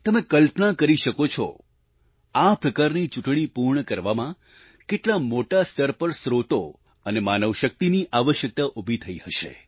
તમે કલ્પના કરી શકો છો આ પ્રકારની ચૂંટણી પૂર્ણ કરાવવામાં કેટલા મોટા સ્તર પર સ્ત્રોતો અને માનવશક્તિની આવશ્યકતા ઉભી થઈ હશે